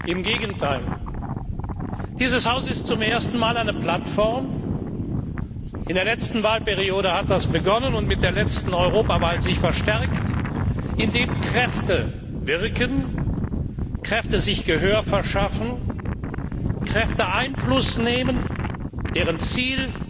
Im Gegenteil Dieses Haus ist zum ersten Mal eine Plattform das hat in der letzten Wahlperiode begonnen und sich mit der letzten Europawahl verstärkt in der Kräfte wirken und sich Gehör verschaffen, Kräfte Einfluss nehmen, deren Ziel